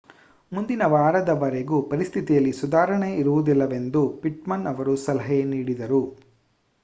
ಮುಂದಿನ ವಾರದವರೆಗೂ ಪರಿಸ್ಥಿತಿಯಲ್ಲಿ ಸುಧಾರಣೆ ಇರುವುದಿಲ್ಲವೆಂದು ಪಿಟ್ಮನ್ ಅವರು ಸಲಹೆ ನೀಡಿದರು